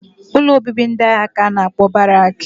Ụlọ obibi ndị agha ka a na-akpọ Barak